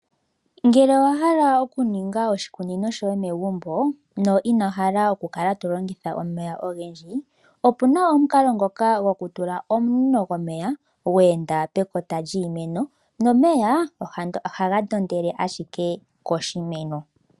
Ngele owahala okuninga oshi kunino shoye megumbo, no inohala okukala to longitha omeya ogendji, opuna omukala ngoka go ku tula omunino gomeya, gwe enda pekota lyiimeno, nomeya ohaga ndo ndele ashike koshimeno.